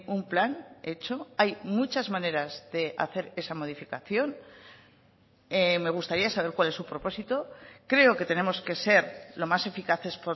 un plan hecho hay muchas maneras de hacer esa modificación me gustaría saber cuál es su propósito creo que tenemos que ser lo más eficaces